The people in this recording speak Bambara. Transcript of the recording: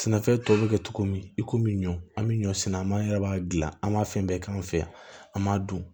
Sɛnɛfɛn tɔ bɛ kɛ cogo min i komi ɲɔ an bɛ ɲɔ sɛnɛ maa wɛrɛ b'a dilan an b'a fɛn bɛɛ k'an fɛ yan an m'a dun